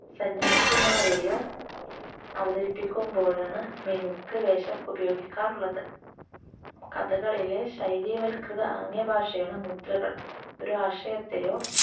സന്യാസിമാരെയും അവതരിപ്പിക്കുമ്പോഴാണ് മിനുക്ക് വേഷം ഉപയോഗിക്കാറുള്ളത്. കഥകളിയിലെ ശൈലീവത്കൃത ആംഗ്യ ഭാഷയാണ് മുദ്രകൾ. ഒരാശയത്തെയോ